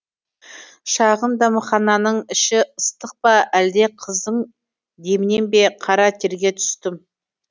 шағын дәмхананың іші ыстық па әлде қыздың демінен бе қара терге түстім